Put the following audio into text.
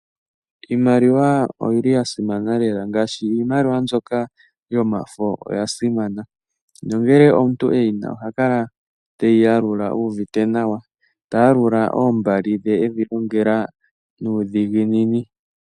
Iimaliw oyili ya simana lela ngaashi iimaliwa mbyoka yomafo oya simana nongele omuntu e yi na oha kala teyi yalula u uvite nawa, ta yalula oombali dhe e dhi longela nuudhiginini.